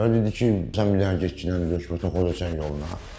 Mənə dedi ki, sən bir dənə getginən döşmə topla sənin yoluna.